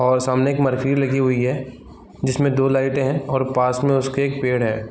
और सामने एक लगी हुई है जिसमें दो लाइटें हैं और पास में उसके एक पेड़ है।